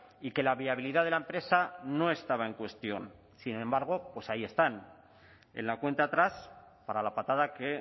y que la viabilidad de la empresa no estaba en cuestión sin embargo pues ahí están en la cuenta atrás para la patada que